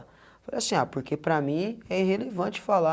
Eu falei assim, ah porque para mim é irrelevante falar.